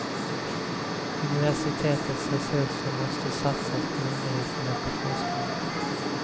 Universitetets resurser måste satsas på undervisning och forskning.